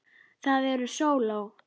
Það eru sóló.